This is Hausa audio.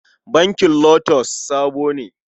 Bankin LOTUS sabo ne.